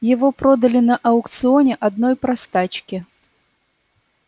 его продали на аукционе одной простачке